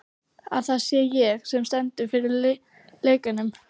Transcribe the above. Að það sé ég, sem stend fyrir lekanum.